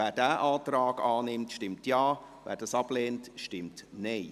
Wer diesen Antrag annimmt, stimmt Ja, wer ihn ablehnt, stimmt Nein.